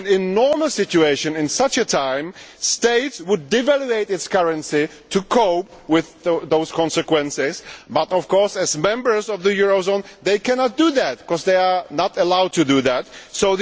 In normal situations at such a time countries would devalue their currencies to cope with those consequences but, of course, as members of the eurozone, they cannot do that because they are not allowed to do so.